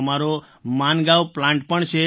અમારો માનગાંવ પ્લાન્ટ પણ છે